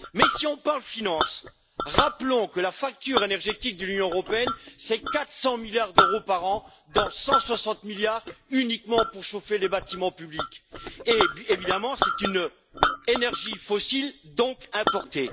Mais si on parle finance, rappelons que la facture énergétique de l'Union européenne, c'est 400 milliards d'euros par an, dont 160 milliards uniquement pour chauffer les bâtiments publics et, évidemment, c'est une énergie fossile, donc importée.